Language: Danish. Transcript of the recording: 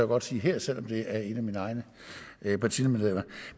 godt sige her selv om det er et af mine egne partimedlemmer